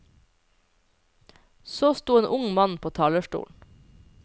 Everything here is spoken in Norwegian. Så sto en ung mann på talerstolen.